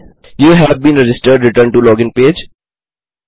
you have been registered return to login page